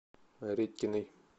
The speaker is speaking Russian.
редькиной